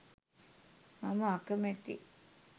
මම අකමැතියි.